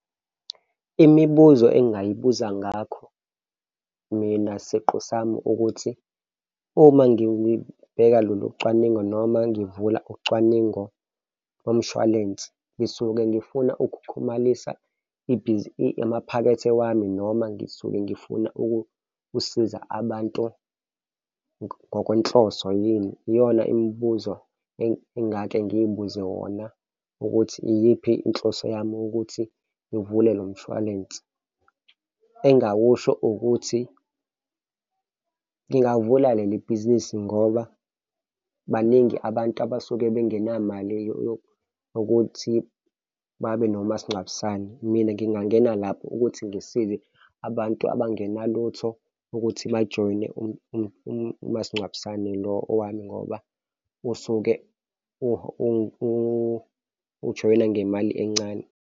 Imibuzo engingayibuza ngakho mina siqu sami ukuthi, uma ngibheka lolu cwaningo noma ngivula ucwaningo bomshwalense, ngisuke ngifuna ukuxhumanisa ibhizi amaphakethe wami noma ngisuke ngifuna ukusiza abantu ngokwenhloso yini? Iyona imibuzo engake ngiy'buze wona, ukuthi iyiphi inhloso yami ukuthi ngivule lo mshwalense? Engakusho ukuthi ngingavula leli bhizinisi ngoba baningi abantu abasuke bengenamali yokuthi babe nomasingcwabisane. Mina ngingangena lapho ukuthi ngisize abantu abangenalutho ukuthi bajoyine umasingcwabisane lo owami, ngoba usuke ujoyina ngemali encane.